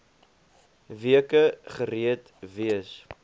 weke gereed wees